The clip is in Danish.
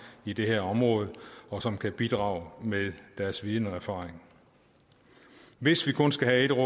i det her område og som kan bidrage med deres viden og erfaring hvis vi kun skal have ét